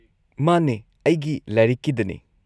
ꯃꯥꯅꯦ, ꯑꯩꯒꯤ ꯂꯥꯏꯔꯤꯛꯀꯤꯗꯅꯦ꯫